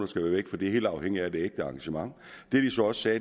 skal væk for det er helt afhængigt af det ægte engagement det vi så også sagde